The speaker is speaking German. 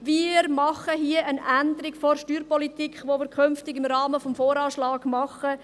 Wir nehmen hier eine Änderung der Steuerpolitik vor, welche wir künftig im Rahmen des VA machen.